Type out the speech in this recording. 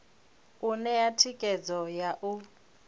u ṋea thikhedzo ya u